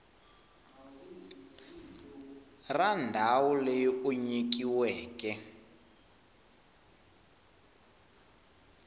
ra ndhawu leyi u nyikiweke